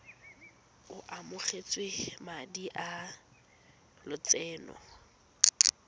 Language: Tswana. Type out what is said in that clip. o amogetse madi a lotseno